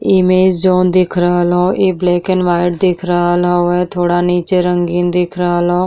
इमे जोन देख रहल ह। इ ब्लैकन व्हाइट दिख रहल हउ। थोड़ा नीचे रंगीन दिख रहल हउ।